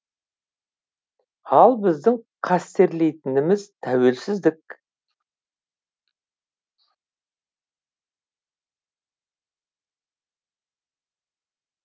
ал біздің қастерлейтініміз тәуелсіздік